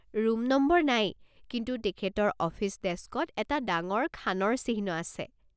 Room number নাই, কিন্তু তেখেতৰ অফিচ ডেস্কত এটা ডাঙৰ খানৰ চিহ্ন আছে।